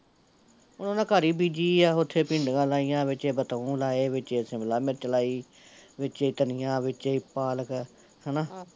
ਹੁਣ ਓਹਨਾਂ ਘਰ ਈ ਬੀਜੀ ਆ ਓਥੇ ਈ ਭਿੰਡੀਆ ਲਾਈਆ, ਵਿਚੇ ਬਤਾਉ ਲਾਏ, ਵਿਚੇ ਸ਼ਿਮਲਾ ਮਿਰਚ ਲਾਈ ਵਿਚੇ ਈ ਧਨੀਆ ਵਿਚੇ ਈ ਪਾਲਕ, ਹੈਨਾ